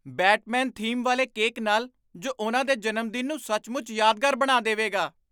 Batman theme ਵਾਲੇ cake ਨਾਲ ਜੋ ਉਨ੍ਹਾਂ ਦੇ ਜਨਮਦਿਨ ਨੂੰ ਸੱਚਮੁੱਚ ਯਾਦਗਾਰ ਬਣਾ ਦੇਵੇਗਾ!